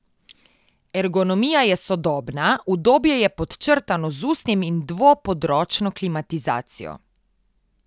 Ergonomija je sodobna, udobje je podčrtano z usnjem in dvopodročno klimatizacijo.